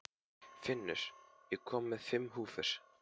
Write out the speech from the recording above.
Finnur, ég kom með fimm húfur!